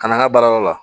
Ka na an ka baarayɔrɔ la